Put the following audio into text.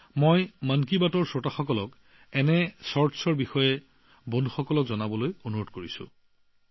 সেয়ে মন কী বাতৰ দৰ্শকলৈ আহ্বান জনাইছোঁ যে এই চুটি ছবিবোৰ অধিক আৰু অধিক শ্বেয়াৰ কৰক